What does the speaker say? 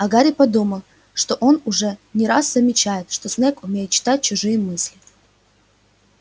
а гарри подумал что он уже не первый раз замечает что снегг умеет читать чужие мысли